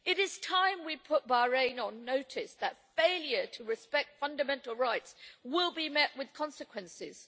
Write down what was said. It is time we put Bahrain on notice that failure to respect fundamental rights will be met with consequences.